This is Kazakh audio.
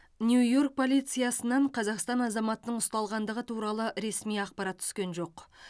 нью йорк полициясынан қазақстан азаматының ұсталғандығы туралы ресми ақпарат түскен жоқ